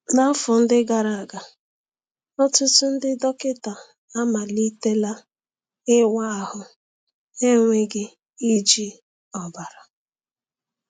N’afọ ndị gara aga, ọtụtụ ndị dọkịta amalitela ịwa ahụ n’enweghị iji ọbara.